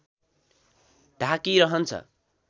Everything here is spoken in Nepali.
ढाकी रहन्छ